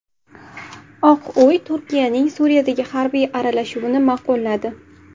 Oq uy Turkiyaning Suriyadagi harbiy aralashuvini ma’qulladi.